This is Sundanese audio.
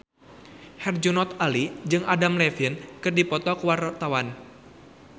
Herjunot Ali jeung Adam Levine keur dipoto ku wartawan